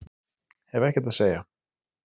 Hef ekkert að segja